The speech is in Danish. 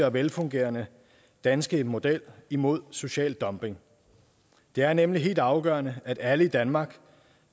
og velfungerende danske model imod social dumping det er nemlig helt afgørende at alle i danmark